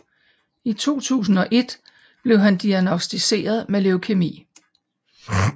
I 2001 blev han diagnosticeret med leukæmi